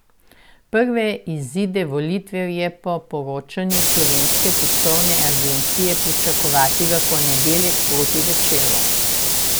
Prve izide volitev je po poročanju Slovenske tiskovne agencije pričakovati v ponedeljek proti večeru.